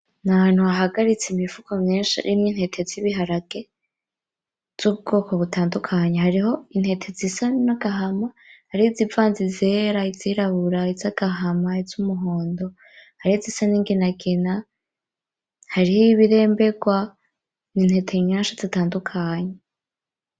Ni ahantu bahagaritse imifuko myinshi irimwo intete z'ibiharage z'ubwoko butandukanye hariho intete zisa n'agahama hariho nizivanze izera n'izirabura izagahama n'izuhondo hari nizisa n'inginagina hariho ibirembegwa n'intete nyinshi zitandukanye.